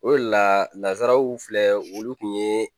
O de la lazanraw filɛ olu kun ye